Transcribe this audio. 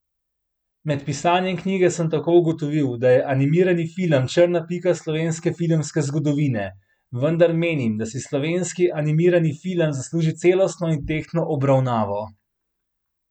Med pisanjem knjige sem tako ugotovil, da je animirani film črna pika slovenske filmske zgodovine, vendar menim, da si slovenski animirani film zasluži celostno in tehtno obravnavo.